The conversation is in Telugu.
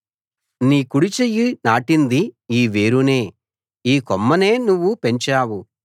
నీ కుడిచెయ్యి నాటింది ఈ వేరునే ఈ కొమ్మనే నువ్వు పెంచావు